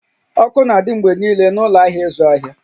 Ọkụ n'adị mgbe niile n'ụlọ ahịa ịzụ ahịa